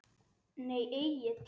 Nei Egill.